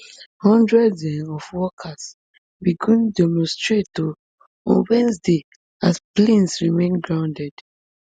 hundreds um of workers begin demonstrate um on wednesday as planes remain grounded